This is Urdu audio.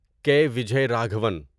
کے وجی راگھوان